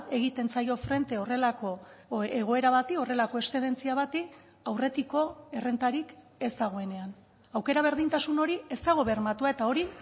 egiten zaio frente horrelako egoera bati horrelako eszedentzia bati aurretiko errentarik ez dagoenean aukera berdintasun hori ez dago bermatua eta hori